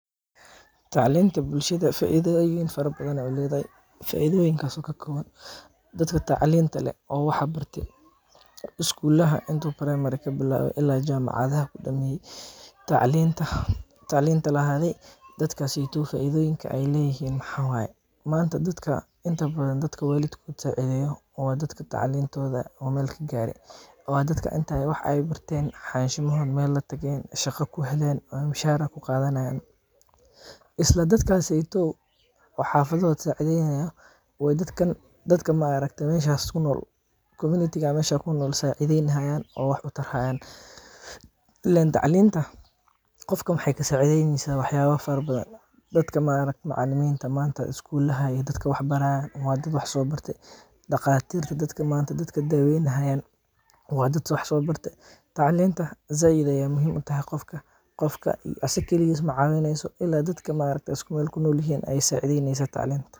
Tacliinta bulshada faidooyin fara badan ayeey uledahay, faidoyinkaas oo kakooban, dadka tacliinta leh oo wax barte, iskuulaha primary kabilaabe ilaa jamacadaha kidameeye, tacliinta dadkaas faidoyinka aay leeyihiin maxaa waye, maanta inta badan dadka waalidkooda saacideeyo waa dadka tacliin tooda meel kagaaren, waa dadka inaay wax barteen xashimahooda meel latageen ,shaqa kuheleen, oo mushaara kuqadani haayan, isla dadkaas waalidkooda sacideyni haaya oo dadka community meeshaas kunool sacideyni haayan, oo wax kutari haayan, ileen tacliinta qofka waxeey kasacideyni haysa wax yaaba fara badan, dadka maanta macalimiinta iskuulaha dadka wax baraayan waa dad wax soo barte, daqaatiirta dadka maanta daaweyni haayan waa dad wax soo barte, tacliinta sait ayeey muhiim utahay qofka asaga kaligiis macaawineyso ilaa dadka aay isku meel kunool yihiin ayeey sacideyneysa tacliinta.